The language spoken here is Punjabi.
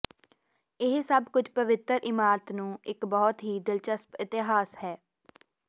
ਇਹ ਸਭ ਕੁਝ ਪਵਿੱਤਰ ਇਮਾਰਤ ਨੂੰ ਇੱਕ ਬਹੁਤ ਹੀ ਦਿਲਚਸਪ ਇਤਿਹਾਸ ਹੈ